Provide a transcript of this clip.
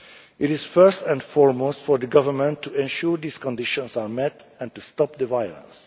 up. It is first and foremost for the government to ensure these conditions are met, and to stop the